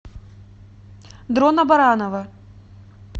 дрона баранова